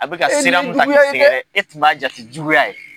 e tun b'a jate juguya ye